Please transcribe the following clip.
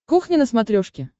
кухня на смотрешке